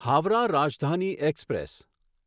Howrah Rajdhani express